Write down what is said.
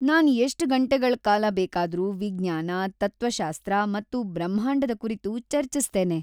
ನಾನ್ ಎಷ್ಟ್ ಗಂಟೆಗಳ ಕಾಲ ಬೇಕಾದರೂ ವಿಜ್ಞಾನ, ತತ್ವಶಾಸ್ತ್ರ ಮತ್ತು ಬ್ರಹ್ಮಾಂಡದ ಕುರಿತು ಚರ್ಚಿಸ್ತೇನೆ